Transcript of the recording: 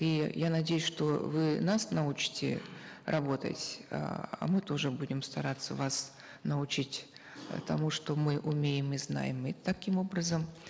и я надеюсь что вы нас научите работать эээ а мы тоже будем стараться вас научить тому что мы умеем и знаем и таким образом